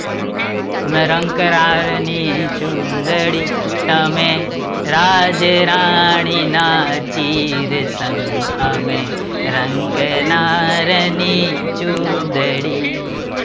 અમે રંકરાય ની ચૂંદડી, તમે રાજરાણી ના ચિરસંગ અમે રંક નારની ચૂંદડી